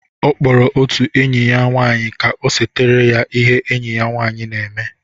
Ọ kpọrọ otu enyi ya nwanyị ka o setara ya ihe enyi m nwanyi na-eme.